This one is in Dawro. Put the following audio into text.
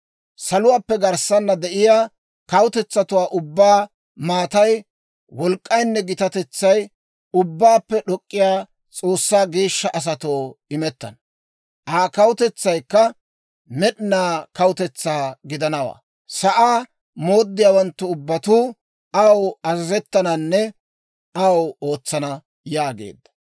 Saluwaappe garssana de'iyaa kawutetsatuwaa ubbaa maatay, wolk'k'aynne gitatetsay Ubbaappe d'ok'k'iyaa S'oossaa geeshsha asatoo imettana. Aa kawutetsaykka med'inaa kawutetsaa gidanawaa; sa'aa mooddiyaawanttu ubbatuu aw azazettananne aw ootsana› yaageedda.